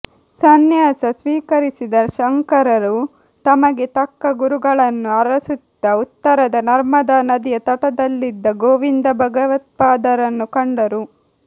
ಸಂನ್ಯಾಸ ಸ್ವೀಕರಿಸಿದ ಶಂಕರರು ತಮಗೆ ತಕ್ಕ ಗುರುಗಳನ್ನು ಅರಸುತ್ತಾ ಉತ್ತರದ ನರ್ಮದಾ ನದಿಯ ತಟದಲ್ಲಿದ್ದ ಗೋವಿಂದ ಭಗವತ್ಪಾದರನ್ನು ಕಂಡರು